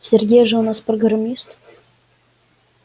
сергей же у нас программист